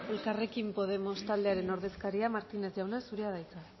elkarrekin podemos taldearen ordezkaria martínez jauna zurea da hitza